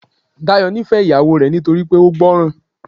Dayọ̀ nífẹ̀ẹ́ ìyàwó rẹ̀ nítorí pé ó gbọ́ran.